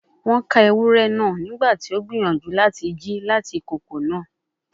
Won ka ewurẹ naa nigbati o n gbiyanju lati ji lati ikoko naa